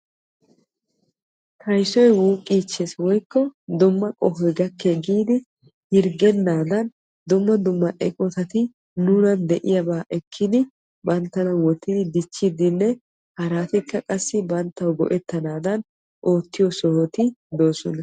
Kayssoy wuuqes giidi hirggenaddan dumma dumma eqqotatti daro ekkiddi banttana dichannawu oottiyobatti de'osonna.